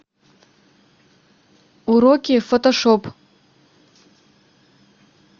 уроки фотошоп